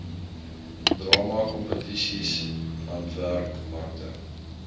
drama kompetisies handwerkmarkte